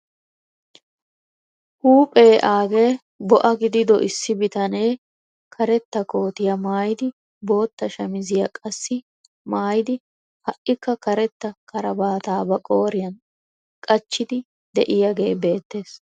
Huuphphee aagee bo"aa gidido issi bitanee karetta kootiyaa maayidi bootta shamisiyaa qassi maayidi ha'ikka karetta karabaataa ba qooriyaan qachchidi de'iyaagee beettees.